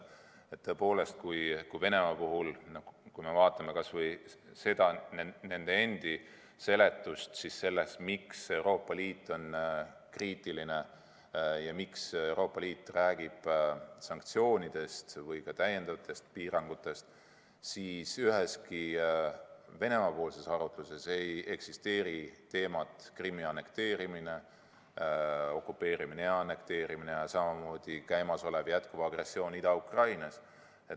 Tõepoolest, kui me Venemaa puhul vaatame kas või nende endi seletust sellele, miks Euroopa Liit on kriitiline ja miks Euroopa Liit räägib sanktsioonidest või täiendavatest piirangutest, siis üheski Venemaa-poolses arutluses ei ole teemaks Krimmi okupeerimist ja annekteerimist, samamoodi ei räägita jätkuvast agressioonist Ida-Ukrainas.